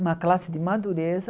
Uma classe de madureza.